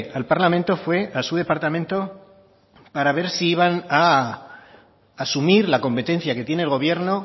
al parlamento fue a su departamento para ver si iban a asumir la competencia que tiene el gobierno